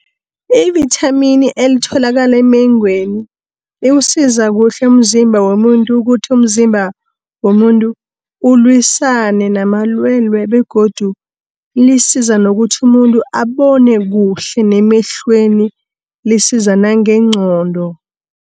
Ivithamini elitholakala emengweni, liwusiza kuhle umzimba womuntu, ukuthi umzimba womuntu ukulwisane namalwelwe, begodu lisiza nokuthi umuntu abone kuhle emehlweni lisiza nangengqondo.